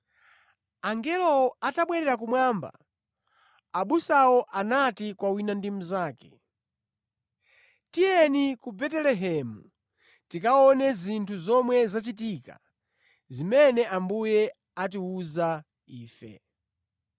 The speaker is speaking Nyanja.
Angelowo atabwerera kumwamba, abusawo anati kwa wina ndi mnzake, “Tiyeni ku Betelehemu tikaone zinthu zomwe zachitika, zimene Ambuye atiwuza ife.”